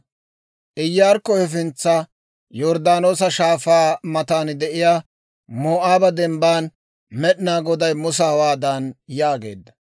Iyaarikko hefintsana, Yorddaanoosa Shaafaa matan de'iyaa Moo'aaba Dembban, Med'inaa Goday Musa hawaadan yaageedda;